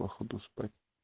походу спать